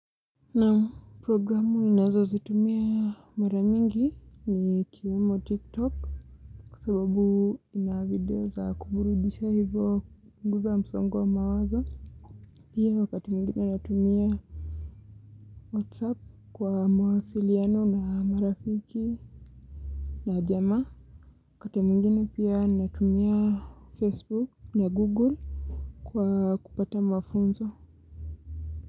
Naam programu ninazo zitumia maramingi ni ikiwemo tiktok kua sababu ina video za kuburudisha hivyo guza msongo wa mawazo. Pia wakati muingine natumia whatsapp kwa mawasiliano na marafiki na jama. Wakati mungine pia natumia facebook na google kwa kupata mafunzo.